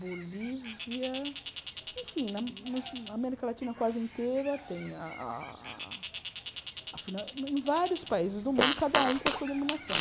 Bolívia, enfim, na nos na América Latina quase inteira, tem a a... Em vários países do mundo, cada um com a sua dominação.